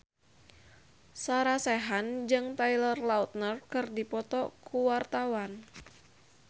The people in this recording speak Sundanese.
Sarah Sechan jeung Taylor Lautner keur dipoto ku wartawan